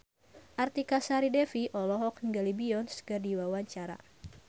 Artika Sari Devi olohok ningali Beyonce keur diwawancara